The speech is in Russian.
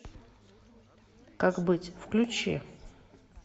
как быть включи